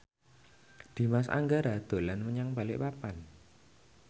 Dimas Anggara dolan menyang Balikpapan